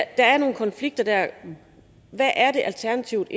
er nogle konflikter der hvad er det alternativet